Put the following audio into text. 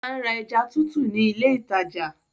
Ó ma ń ra ẹja tútù ni ile ìtajà.